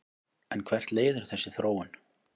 En hvert leiðir þessi þróun?